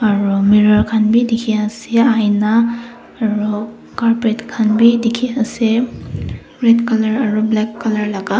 aru mirror khan bi dikhiase aina aro carpet khan bi dikhiase red colour aro black colour laka.